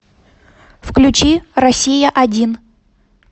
включи россия один